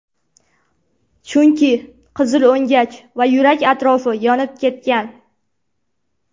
Chunki qizil o‘ngach va yurak atrofi yonib ketgan.